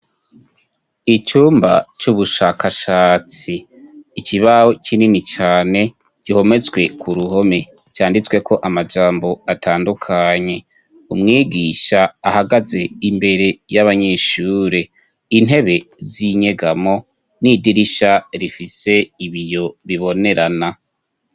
Icumba c'ubushakashatsi ikibaho kinini cane gihometswe ku ruhome canditsweko amajambo atandukanye umwigisha ahagaze imbere y'abanyeshure intebe z'inyegamo n'idirisha rifise ibiyo bibonerana.